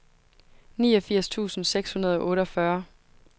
niogfirs tusind seks hundrede og otteogfyrre